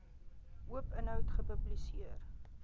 oop inhoud gepubliseer